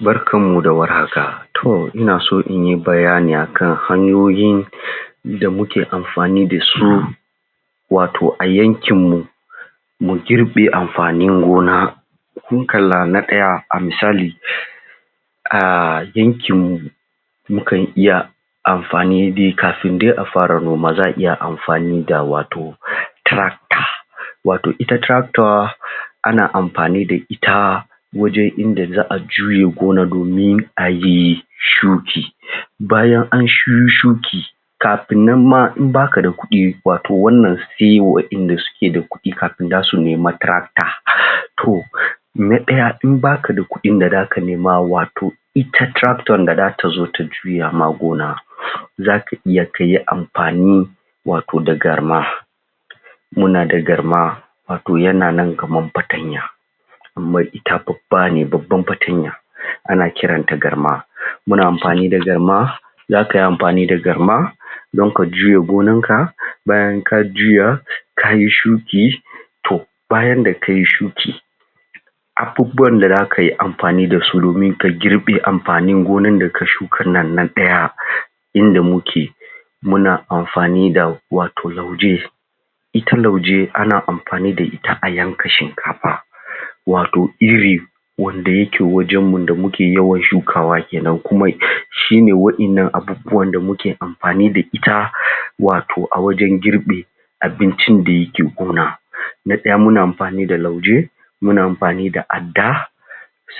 Barkar mu da warhaka to ina so inyi bayani akan hanyoyin da muke amfani dasu wato a yankin mu mu jirɓe amfanin gona mun kalla na ɗaya a misali a yankin mu mu kan iya amfani dai kafin dai a fara noma za’a iya amfani da wato Tiracta wato ita Tiracto ana amfani da Ita wajan inda za’a juye gonar domin ayi shuki Bayan anyi shu shuki kafin nan ma idan baka da kuɗi wato wannan sai waɗanda ke da kuɗi kafin zasu nema Tiracta to na ɗaya in baka da kuɗin da zaka nema wato ita Tiracta da zata zo ta juya ma gona zaka iya kayi amfani wato da Garma muna da Garma wato yana nan kamar Fatanya amma ita babba ne babba Fatanya ana kiranta Garma muna amfani da Garma za kayi amfani da Garma dan ka juya gonar ka bayan ka juya kayi shuki to bayan da kayi shuki abubuwan da za kayi amfani dasu domin ka girɓe amfani gona da ka shukan nan na ɗaya inda muke muna amfani da wato Lauje ita Lauje ana amfani da ita a yanka Shinkafa wato Iri wanda yake wajan mu da muke yawan shukawa kenan kuma shine wa'yannan abubuwa da muke amfani ita wato a wajan girɓi abincin da yake gona na ɗaya muna amfani da Lauje muna amfani da Adda